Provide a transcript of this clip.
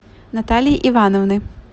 натальи ивановны